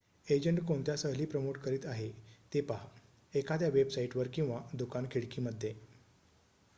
agent कोणत्या सहली promote करीत आहे ते पहा एखाद्या वेबसाईट वर किंवा दुकान खिडकी मध्ये